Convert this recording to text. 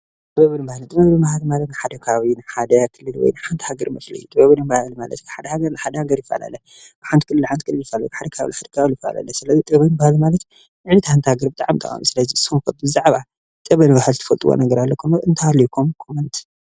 ጥበብን ባህል ማለት ሓደ ከባቢ ካብ ሓንቲ ሃገር ናብ ሓንቲ ጋር ይፈላለ እንትሃልኩም ኮመንት.